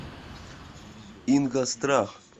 ингосстрах